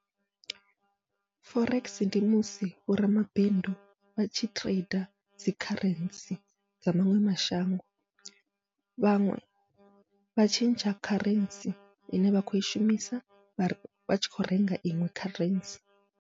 Forex ndi musi vho ramabindu vhatshi trader dzi kharentsi dza maṅwe mashango, vhaṅwe vha tshentsha kharentsi ine vha khou i shumisa vha vhatshi khou renga iṅwe kharentsi.